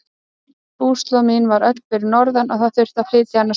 Búslóð mín var öll fyrir norðan og það þurfti að flytja hana suður.